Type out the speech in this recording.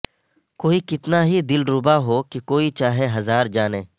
کوئی کتنا ہی دلربا ہو کہ کوئی چاہے ہزار جانیں